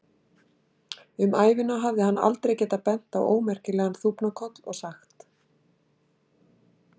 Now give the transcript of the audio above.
Um ævina hafði hann aldrei getað bent á ómerkilegan þúfnakoll og sagt